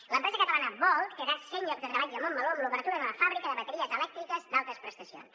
l’empresa catalana bold crearà cent llocs de treball a montmeló amb l’obertura d’una fàbrica de bateries elèctriques d’altes prestacions